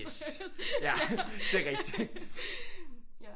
Yes ja det er rigtigt